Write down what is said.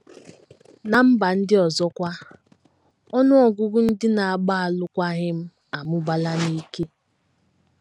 Ná mba ndị ọzọ kwa, ọnụ ọgụgụ ndị na - agba alụkwaghịm amụbaala n’ike.